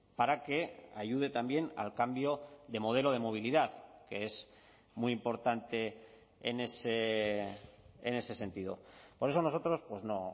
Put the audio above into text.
para que ayude también al cambio de modelo de movilidad que es muy importante en ese sentido por eso nosotros no